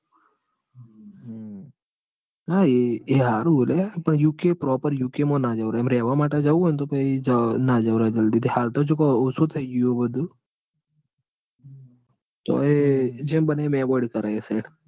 હા એ એ હારું હ લ્યા પણ યુકે proper યુકે માં ના જવાય. આમ રેવા માટે જવું હોય તો પહિ ના જવાય ઓછું થઇ ગયું હ બધું. તોયે જેમ બને એમ avoid કરાય એ સાઈડ.